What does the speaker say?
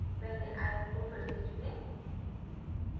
पहले आयत को फिर से चुनें